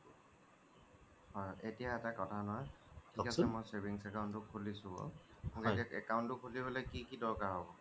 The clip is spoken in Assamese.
এতিয়া এটা কথা নহয় এতিয়া মই savings account এটা খোলিছো account টো খুলি পেলাই কি কি দৰকাৰ হব